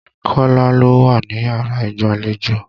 Kọ́lá ló wá níyàrá ìgbàlejò.